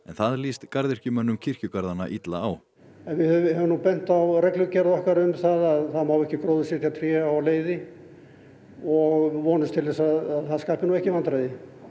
það lýst garðyrkjumönnum kirkjugarðanna illa á en við höfum nú bent á reglugerð okkar um það það má ekki gróðursetja tré á leiði og vonumst til að það skapi ekki vandræði